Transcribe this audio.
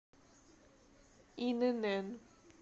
инн